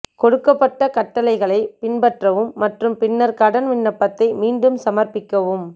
கொடுக்கப்பட்ட கட்டளைகளை பின்பற்றவும் மற்றும் பின்னர் கடன் விண்ணப்பத்தை மீண்டும் சமர்ப்பிக்கவும்